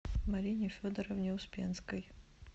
марине федоровне успенской